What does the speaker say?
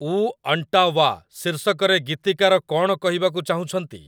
ଊ ଅଣ୍ଟାୱା' ଶୀର୍ଷକରେ ଗୀତିକାର କଣ କହିବାକୁ ଚାହୁଁଛନ୍ତି